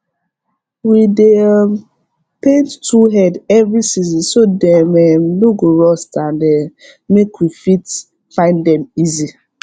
we dey um paint tool head every season so dem um no go rust and um make we fit find dem easy